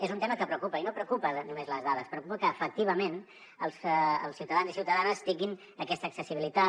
és un tema que preocupa i no preocupen només les dades preocupa que efectivament els ciutadans i ciutadanes tinguin aquesta accessibilitat